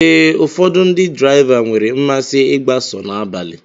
Ee, ụfọdụ ndị draịva nwere mmasị ịgba sọ n'abalị